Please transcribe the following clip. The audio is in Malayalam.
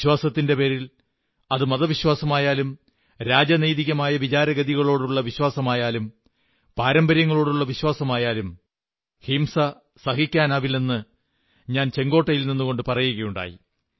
വിശ്വാസത്തിന്റെ പേരിൽ അത് മതവിശ്വാസമായാലും രാഷ്ട്രീയ വിശ്വാസമായാലും പാരമ്പര്യങ്ങളോടുള്ള വിശ്വാസമായാലും ഹിംസ അനുവദിക്കില്ലെന്ന് ഞാൻ ചുവപ്പുകോട്ടയിൽ നിന്നുകൊണ്ടു പറയുകയുണ്ടായി